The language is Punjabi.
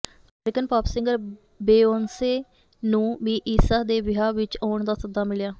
ਅਮੇਰਿਕਨ ਪਾਪ ਸਿੰਗਰ ਬੇਯੋਂਸੇ ਨੂੰ ਵੀ ਈਸ਼ਾ ਦੇ ਵਿਆਹ ਵਿੱਚ ਆਉਣ ਦਾ ਸੱਦਾ ਮਿਲਿਆ ਹੈ